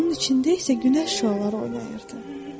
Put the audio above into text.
Onun içində isə günəş şüaları oynayırdı.